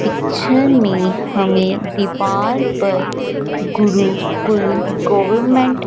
picture में हमें दीवार पर गुरुकुल गवरमेंट --